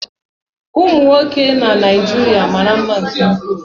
Ụmụ nwoke na Naijiria mara mma nke ukwuu